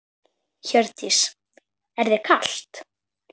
Hjördís: Er þér kalt?